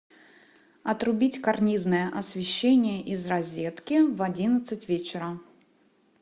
отрубить карнизное освещение из розетки в одиннадцать вечера